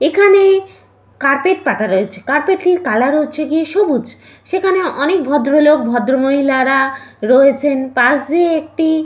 এখানে কার্পেট পাতা রয়েছে কার্পেট -এর কালার হচ্ছে গিয়ে সবুজ সেখানে অনেক ভদ্রলোক ভদ্র মহিলারা রয়েছেন পাশ দিয়ে একটি--